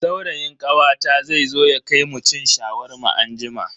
Saurayin kawata zai zo ya kai mu cin Shawarma anjima.